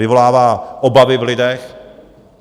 Vyvolává obavy v lidech.